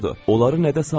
Onları nədəsə aldadıb.